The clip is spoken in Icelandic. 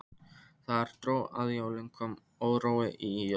Þegar dró að jólum kom órói í Jón.